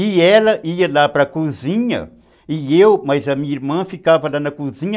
E ela ia lá para a cozinha, e eu, mas a minha irmã ficava lá na cozinha.